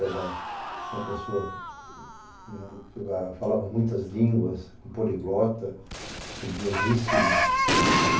Era uma pessoa que falava muitas línguas, poliglota, estudiosíssimo.